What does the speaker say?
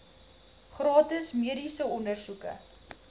gratis mediese ondersoeke